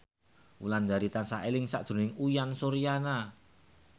Wulandari tansah eling sakjroning Uyan Suryana